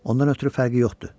Ondan ötrü fərqi yoxdur.